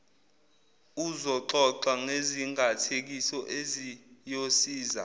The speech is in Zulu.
uzoxoxa ngezingathekiso eziyosiza